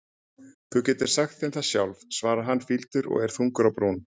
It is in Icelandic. Þú getur sagt þeim það sjálf, svarar hann fýldur og er þungur á brún.